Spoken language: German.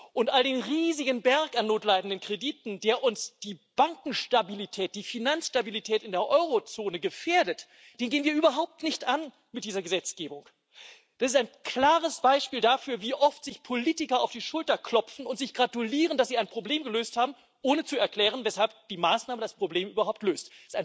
Und den riesigen Berg an notleidenden Krediten, der uns die Bankenstabilität, die Finanzstabilität in der Eurozone gefährdet, gehen wir mit dieser Gesetzgebung überhaupt nicht an. Das ist ein klares Beispiel dafür, wie oft sich Politiker auf die Schulter klopfen und sich gratulieren, dass sie ein Problem gelöst haben, ohne zu erklären, weshalb die Maßnahme das Problem überhaupt löst.